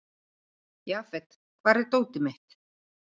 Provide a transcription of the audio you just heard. Jafet, hvar er dótið mitt?